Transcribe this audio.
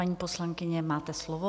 Paní poslankyně, máte slovo.